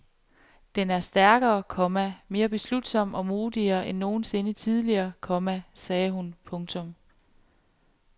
Den er stærkere, komma mere beslutsom og modigere end nogen sinde tidligere, komma sagde hun. punktum